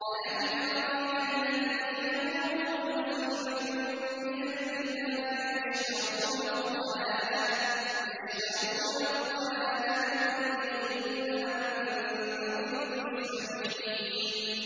أَلَمْ تَرَ إِلَى الَّذِينَ أُوتُوا نَصِيبًا مِّنَ الْكِتَابِ يَشْتَرُونَ الضَّلَالَةَ وَيُرِيدُونَ أَن تَضِلُّوا السَّبِيلَ